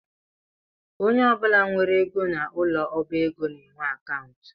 Onye ọbụla nwere ego n’ụlọ ọbaego na-enwe akantụ